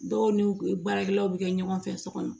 Dɔw n'u ye baarakɛlaw bi kɛ ɲɔgɔn fɛ sɔ kɔnɔ